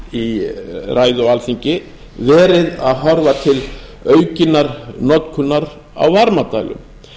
í ræðu á alþingi verið að horfa til aukinnar notkunar á varmadælum